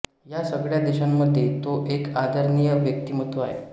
या सगळ्या देशांमध्ये तो एक आदरणीय व्यक्तिमत्त्व आहे